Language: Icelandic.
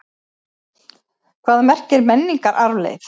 Hvað merkir menningararfleifð?